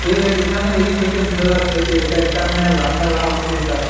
এখানে এই থেকে বোঝা যাচ্ছে যে এটা একটা মেলা মেলা হচ্ছে এই জাগা ।